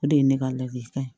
O de ye ne ka ladili kan